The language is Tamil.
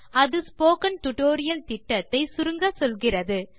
அது ஸ்போக்கன் டியூட்டோரியல் திட்டத்தை சுருங்கச்சொல்கிறது